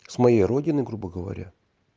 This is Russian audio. с моей родины грубо говоря